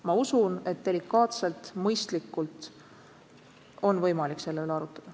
Ma usun, et delikaatselt, mõistlikult on võimalik selle üle arutada.